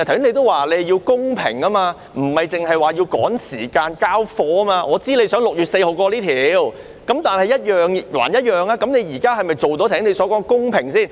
你剛才也說要公平，不是要趕時間"交貨"，我知道你想在6月4日通過這項條例草案，但現在是否做到你剛才說的公平呢？